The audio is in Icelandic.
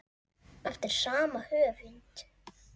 Eftir sama höfund